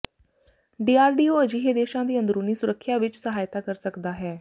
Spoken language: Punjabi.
ਡੀਆਰਡੀਓ ਅਜਿਹੇ ਦੇਸ਼ਾਂ ਦੀ ਅੰਦਰੂਨੀ ਸੁਰੱਖਿਆ ਵਿੱਚ ਸਹਾਇਤਾ ਕਰ ਸਕਦਾ ਹੈ